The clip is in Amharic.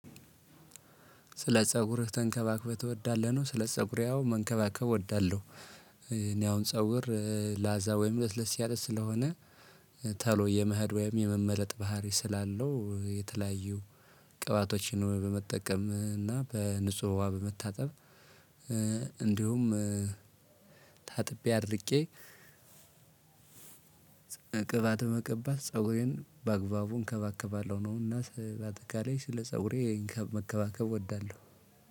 ስለ ፀጉርህ ተንከባክበህ ትወዳለህ ነው? ስለ ፀጉሬ አዎ መንከባከብ እወዳለሁ። እኔ አሁን ፀጉር ላዛ ወይም ለስለስ ያለ ስለሆነ። ስለ ፀጉርህ ተንከባክበህ ትወዳለህ ነው? ስለ ፀጉሬ አዎ ስለ ፀጉሬ አዎ መንከባከብ እወዳለሁ። እንደውም ታጥቤ አድርቄ ቅባት መቀባት ፀጉሬን በአግባቡ እንከባከባለሁ ነው። እና በአጠቃላይ ስለ ፀጉሬ መንከባከብ እወዳለሁ።